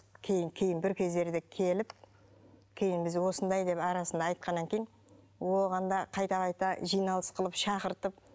кейін кейін бір кездерде келіп кейін біз осындай деп арасында айтқаннан кейін оған да қайта қайта жиналыс қылып шақыртып